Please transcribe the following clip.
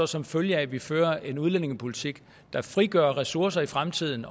som følge af at vi fører en udlændingepolitik der frigør ressourcer i fremtiden